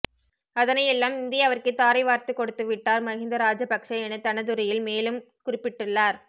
அதனை எல்லாம் இந்தியாவிற்கு தாரை வாத்துக் கொடுத்து விட்டார் மஹிந்த ராஜபக்ஷ என தனதுரையில் மேலும் குறிப்பிட்டுள்ளார்